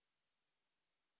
অশেষ শুভকামনা থাকিল